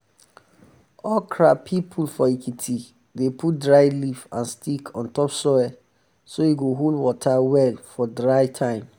okra people for ekiti dey put dry leaf and stick on top soil so e go hold water well for dry um um time.